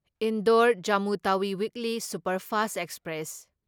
Indore Jammu Tawi weekly superfast express